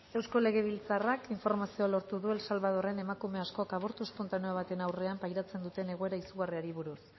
eusko legebiltzarrak informazio lortu du el salvadorren emakume askok abortu espontaneo baten aurrean pairatzen duten egoera izugarriari buruz